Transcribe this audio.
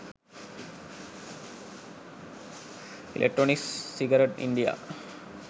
electronics cigarette india